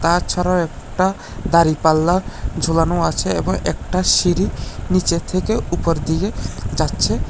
তাছাড়াও একটা দাঁড়িপাল্লা ঝোলানো আছে এবং একটা সিঁড়ি নীচের থেকে উপর দিকে যাচ্ছে।